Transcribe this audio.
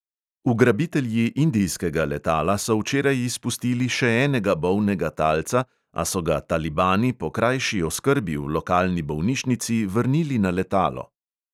Ugrabitelji indijskega letala so včeraj izpustili še enega bolnega talca, a so ga talibani po krajši oskrbi v lokalni bolnišnici vrnili na letalo.